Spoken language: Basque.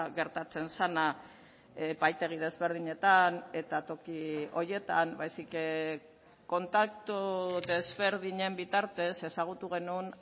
gertatzen zena epaitegi desberdinetan eta toki horietan baizik kontaktu desberdinen bitartez ezagutu genuen